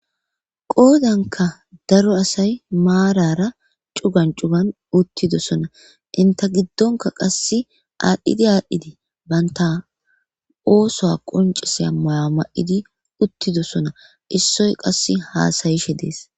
Qoodanka daro asay maarara cugan cugan uttidosona inta giddonka qasse aadhdhidi aadhdhidii banta oosoa qonciseya maya ma7idi uttidosona issoy qass haasayishe dees.